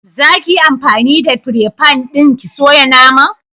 Za ki yi anfani da fire fan ɗin ki soya naman?